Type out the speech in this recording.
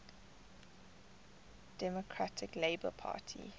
democratic labour party